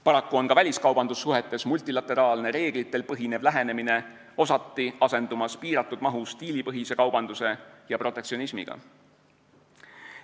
Paraku on ka väliskaubandussuhetes multilateraalne, reeglitel põhinev lähenemine osati asendumas piiratud mahus diilipõhise kaubanduse ja protektsionismiga.